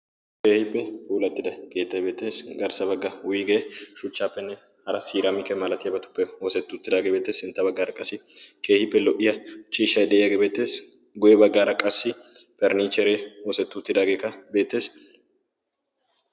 Keehiippe poulattida geettay beettees. garssa bagga wuygee shuchchaappenne hara siraamike malatiyaabatuppe hoosettuuttidaageebeetee sintta baggaara qassi keehiippe lo"iya chiishay de'iyaagee beettees. goye baggaara qassi pernniihcheree oosettidaageeka beettees.